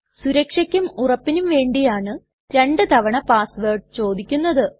സുരക്ഷയ്ക്കും ഉറപ്പിനും വേണ്ടിയാണു രണ്ടു തവണ പാസ് വേർഡ് ചോദിക്കുന്നത്